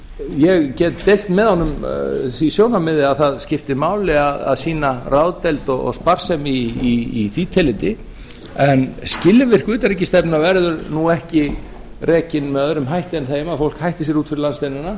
ég get deilt með honum því sjónarmiði að það skipti máli að sýna ráðdeild og sparsemi í því tilliti en skilvirk utanríkisstefna verður nú ekki rekin með öðrum hætti en þeim að fólk hætti sér út fyrir landsteinana